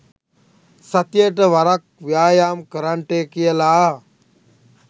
සතියකට වරක් ව්‍යායාම් කරන්ටය කියලා